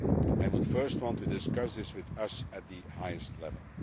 I would first want to discuss this with us at the highest level.